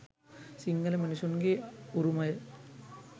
සිංහල මිනිසුන්ගෙ උරුමය